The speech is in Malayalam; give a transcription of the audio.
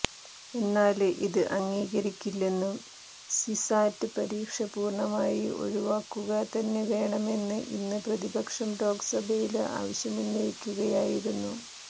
എന്നാല് ഇത് അംഗീകരിക്കില്ലെന്നും സിസാറ്റ് പരീക്ഷ പൂര്ണ്ണമായി ഒഴിവാക്കുക തന്നെ വേണമെന്ന് ഇന്ന് പ്രതിപക്ഷം ലോക്സഭയില് ആവശ്യമുന്നയിക്കുകയായിരുന്നു